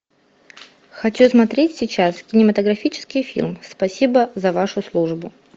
хочу смотреть сейчас кинематографический фильм спасибо за вашу службу